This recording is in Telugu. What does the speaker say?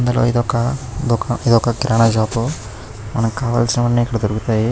ఇది ఒక కిరాణా షాప్ మనకి కావాల్సినవన్నీ ఇక్కడ దొరుకుతాయి.